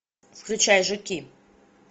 включай жуки